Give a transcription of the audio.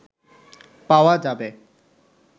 পাওয়া যাবে